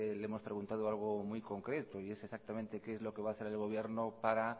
le hemos preguntado algo muy concreto y es exactamente qué es lo qué va a hacer el gobierno para